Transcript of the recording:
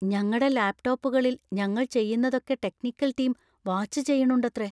ഞങ്ങടെ ലാപ് ടോപ്പുകളിൽ ഞങ്ങൾ ചെയ്യുന്നതൊക്കെ ടെക്നിക്കൽ ടീം വാച്ച് ചെയ്യണുണ്ടത്രെ.